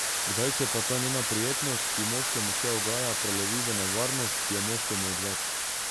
Kdaj se pa ta njena prijetnost, ki moškemu še ugaja, prelevi v nevarnost, ki je moškemu odveč ...